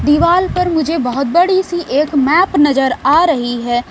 दिवाल पर मुझे बहोत बड़ी सी एक मैप नजर आ रही है।